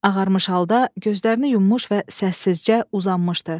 Ağarmış halda gözlərini yummuş və səssizcə uzanmışdı.